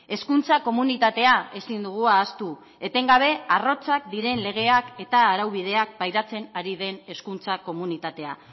hezkuntza komunitatea ezin dugu ahaztu etengabe arrotzak diren legeak eta araubideak pairatzen ari den hezkuntza komunitatea